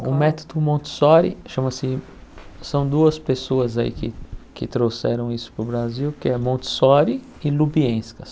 O método Montessori, chama-se... São duas pessoas aí que que trouxeram isso para o Brasil, que é Montessori e Lubienska.